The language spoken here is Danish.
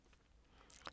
TV 2